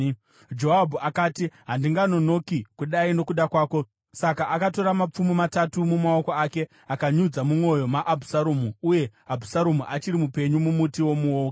Joabhu akati, “Handinganonoki kudai nokuda kwako.” Saka akatora mapfumo matatu mumaoko ake akaanyudza mumwoyo maAbhusaromu, uye Abhusaromu achiri mupenyu mumuti womuouki.